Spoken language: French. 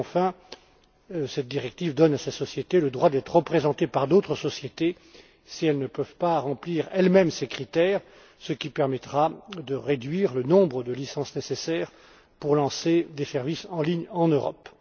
Enfin, cette directive donne à ces sociétés le droit d'être représentées par d'autres sociétés si elles ne peuvent pas remplir elles mêmes ces critères, ce qui permettra de réduire le nombre de licences nécessaires pour lancer des services en ligne en Europe.